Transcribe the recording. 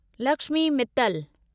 Lakshmi Mittal